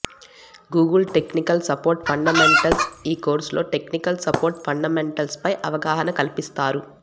Google technical support fundamentals ఈ కోర్సులో technical support ఫండమెంటల్స్పై అవగాహన కల్పిస్తారు